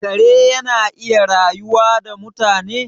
Kare yana iya rayuwa da mutane?